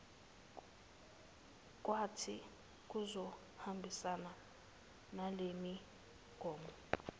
kwethi kuzohambisana nalemigomo